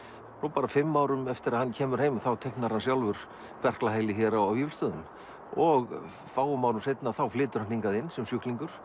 bara fimm árum eftir að hann kemur heim þá teiknar hann sjálfur hér á Vífilsstöðum og fáum árum seinna flytur hann hingað inn sem sjúklingur